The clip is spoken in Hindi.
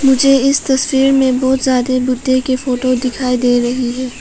मुझे इस तस्वीर में बहुत ज्यादा बुद्ध की फोटो दिखाई दे रही हैं।